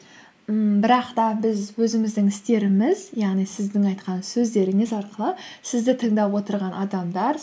ммм бірақ та біз өзіміздің істеріміз яғни сіздің айтқан сөздеріңіз арқылы сізді тыңдап отырған адамдар